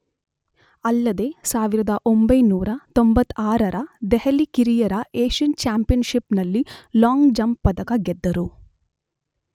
ಅಲ್ಲದೇ 1996 ರ ದೆಹಲಿ ಕಿರಿಯರ ಏಷ್ಯನ್ ಚ್ಯಾಂಪಿಯನ್ಷಿಪ್ ನಲ್ಲಿ ಲಾಂಗ್ ಜಂಪ್ ಪದಕ ಗೆದ್ದರು.